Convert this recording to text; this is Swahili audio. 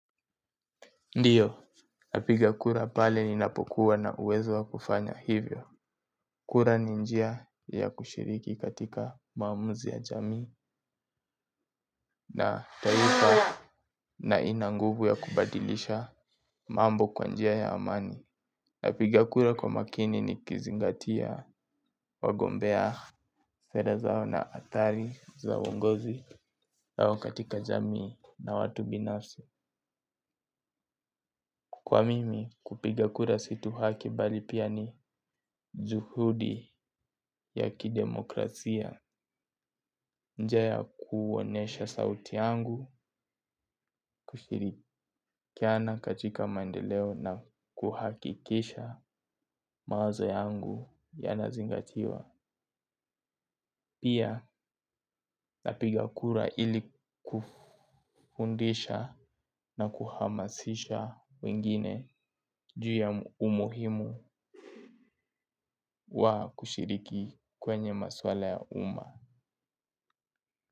Ndio. Napiga kura pale ninapokuwa na uwezo wa kufanya hivyo. Kura ni njia ya kushiriki katika maamuzi ya jamii na taifa na ina nguvu ya kubadilisha mambo kwa njia ya amani. Napiga kura kwa makini nikizingatia wagombea. Sera zao na athari za uongozi yao katika jamii na watu binafsi. Kwa mimi kupiga kura si tu haki bali pia ni juhudi ya kidemokrasia. Njia ya kuonyesha sauti yangu, kushirikiana katika maendeleo na kuhakikisha mawazo yangu yanazingatiwa. Pia napiga kura ili kufundisha na kuhamasisha wengine. Juu ya umuhimu wa kushiriki kwenye maswala ya umma.